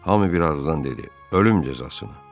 Hamı bir ağızdan dedi: Ölüm cəzasını.